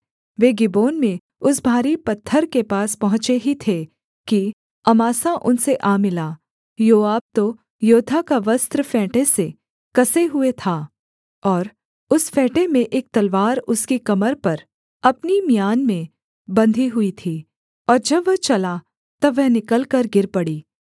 वे Gibeon में उस भारी पत्थर के पास पहुँचे ही थे कि अमासा उनसे आ मिला योआब तो योद्धा का वस्त्र फेंटे से कसे हुए था और उस फेंटे में एक तलवार उसकी कमर पर अपनी म्यान में बंधी हुई थी और जब वह चला तब वह निकलकर गिर पड़ी